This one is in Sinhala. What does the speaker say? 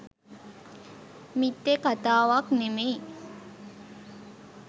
මිත්‍යා කතාවක් නෙමෙයි.